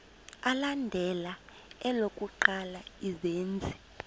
alandela elokuqala izenzi